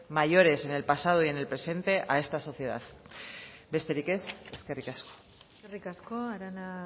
mayores en el pasado y en el presente a esta sociedad besterik ez eskerrik asko eskerrik asko arana